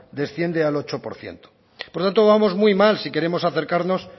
desciende al ocho por ciento por lo tanto vamos muy mal si queremos acercarnos